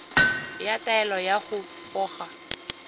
ya taelo ya go goga